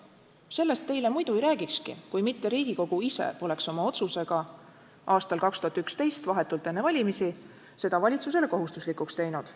Sellest ma teile muidu ei räägikski, kui mitte Riigikogu ise poleks oma otsusega aastal 2011 vahetult enne valimisi seda valitsusele kohustuslikuks teinud.